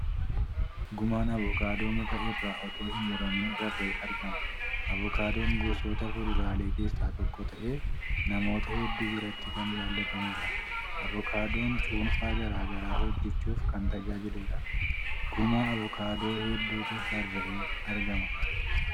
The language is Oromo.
Gumaan avookaadoo muka irraa otoo hin muramin rarra'ee argama . Avookaadoon gosoota fuduraalee keessaa tokko ta'ee namoota hedduu biratti kan jaalatamuudha. Avookaadoon cuunfaa garagaraa hojjachuuf kan tajaajiluudha. Gumaa avookaadoo hedduutu rarra'ee argama.